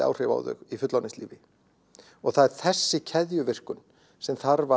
áhrif á þau í fullorðinslífi og það er þessi keðjuverkun sem þarf